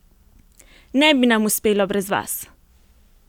Ne bi nam uspelo brez vas!